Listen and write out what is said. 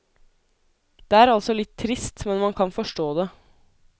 Det er altså litt trist, men man kan forstå det.